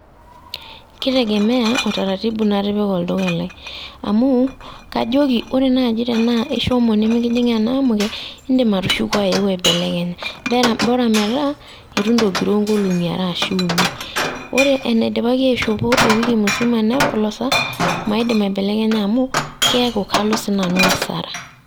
Keitegemea otaratibu natipika olduka lai, amu, kajoki ore naaji tenaa ishomo nimikijing' enaamuke, indim atushuku ayeu aibelekenya, bora metaa eitu intogiroo nkolong'i are ashu uni. Ore enaidipaki aishopo ewiki musima nepolosa, maidim aibelekenya amu keeku kalo sii nanu hasara.